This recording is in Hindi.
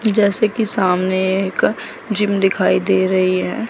जैसे कि सामने एक जिम दिखाई दे रही है।